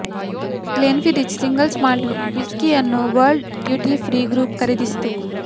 Glenfiddich single malt ವಿಸ್ಕಿಯನ್ನು world duty free group ಖರೀದಿಸಿತು